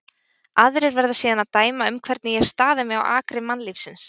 Aðrir verða síðan að dæma um hvernig ég hef staðið mig á akri mannlífsins.